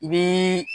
I bii